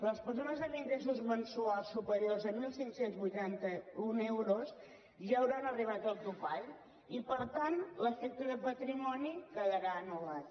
les persones amb ingressos mensuals superiors a quinze vuitanta u euros ja hauran arribat al topall i per tant l’efecte de patrimoni quedarà anul·lat